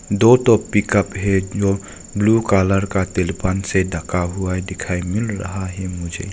दो ठो पिकअप जो ब्लू कलर का तिलपन से ढका हुआ दिखाई मिल रहा है मुझे।